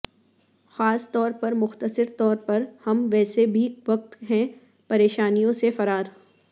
خاص طور پر مختصر طور پر ہم ویسے بھی وقت ہے پریشانیوں سے فرار